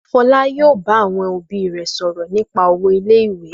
Fọlá yóò bá àwọn òbí rẹ̀ sọ̀rọ̀ nípa owó ilé-iwe.